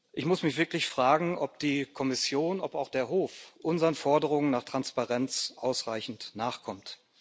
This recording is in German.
Ich muss mich wirklich fragen, ob die Kommission, ob auch der Hof unseren Forderungen nach Transparenz ausreichend nachkommt.